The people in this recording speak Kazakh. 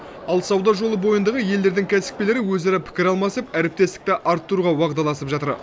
ал сауда жолы бойындағы елдердің кәсіпкерлері өзара пікір алмасып әріптестікті арттыруға уағдаласып жатыр